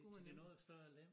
Ja til det noget større lem